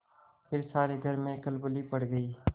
फिर सारे घर में खलबली पड़ गयी